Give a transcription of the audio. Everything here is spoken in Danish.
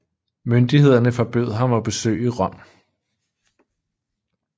Myndighederne forbød ham at besøge Rom